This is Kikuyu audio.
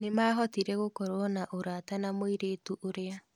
Nimahotire gũkorwo na ũrata na mũirĩtu ũrĩa.